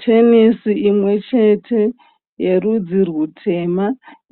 Tenesi imwe chete yerudzi rutema,